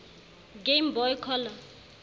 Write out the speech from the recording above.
game boy color